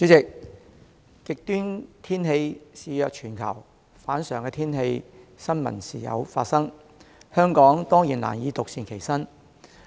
主席，極端天氣肆虐全球，反常天氣的新聞時有發生，香港當然難以獨善其身。